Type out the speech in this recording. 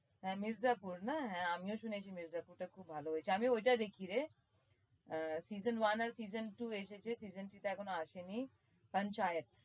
হ্যাঁ মির্জাপুর না হ্যাঁ আমিও শুনেছি মির্জাপুরটা খুব ভালো হয়েছে আমি ওইটা দেখিরে আহ season one আর season two এসেছে season three এখনো আসেনি